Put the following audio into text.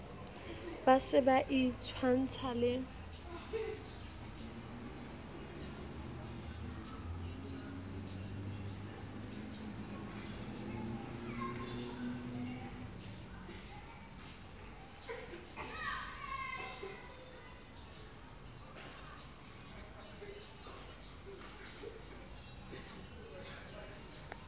ba se ba itshwantsha le